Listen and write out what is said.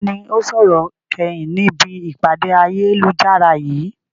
Ta ni ó sọ̀rọ̀ kẹ́yìn ni ibi ìpàdé ayélujára yìí?